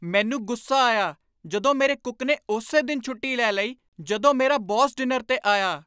ਮੈਨੂੰ ਗੁੱਸਾ ਆਇਆ ਜਦੋਂ ਮੇਰੇ ਕੁੱਕ ਨੇ ਉਸੇ ਦਿਨ ਛੁੱਟੀ ਲੈ ਲਈ ਜਦੋਂ ਮੇਰਾ ਬੌਸ ਡਿਨਰ 'ਤੇ ਆਇਆ।